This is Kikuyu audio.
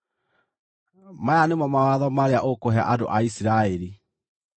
“Maya nĩmo mawatho marĩa ũkũhe andũ a Isiraeli: